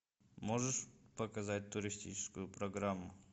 можешь показать туристическую программу